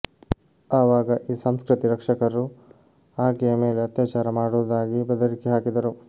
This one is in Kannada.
ಅವಾಗ ಈ ಸಂಸ್ಕೃತಿ ರಕ್ಷಕರು ಆಕೆಯ ಮೇಲೆ ಅತ್ಯಾಚಾರ ಮಾಡುವುದಾಗಿ ಬೆದರಿಕೆ ಹಾಕಿದರು